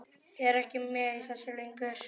Er ekki með í þessu lengur.